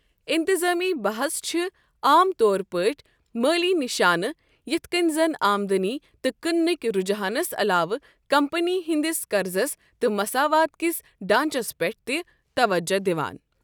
انتظامی بحژ چھِ عام طور پٲٹھۍ مٲلی نِشانہٕ یتھ کٔنۍ زَن آمدنی تہٕ کٕنٕنک رُجحانَس علاوٕ کمپنی ہنٛدِس قَرٕضس تہٕ مساوات کِس ڈانٛچس پٮ۪ٹھ تہِ توجہ دِوان۔